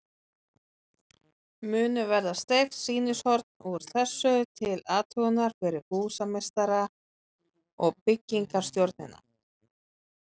Munu verða steypt sýnishorn úr þessu til athugunar fyrir húsameistara og byggingarstjórnina.